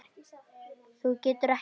Þú getur ekki breytt því.